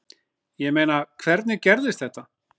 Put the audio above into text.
Ég meina, hvernig gerðist þetta?